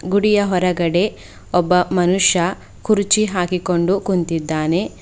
ಗುಡಿಯ ಹೊರಗಡೆ ಒಬ್ಬ ಮನುಷ್ಯ ಕುರ್ಚಿ ಹಾಕಿಕೊಂಡು ಕುಂತಿದ್ದಾನೆ.